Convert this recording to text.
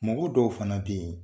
Mɔgɔ dɔw fana be yen